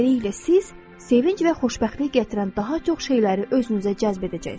Beləliklə siz sevinc və xoşbəxtlik gətirən daha çox şeyləri özünüzə cəzb edəcəksiz.